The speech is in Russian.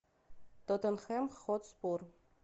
тоттенхэм хотспур